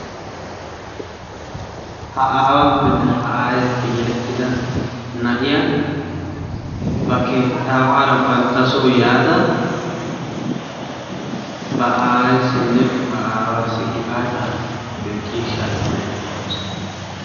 Ha aaawappenne aayenne yelettidda na'iya gifaata wodiyan banttasso asaassi ciishsha immaydde de'awussu.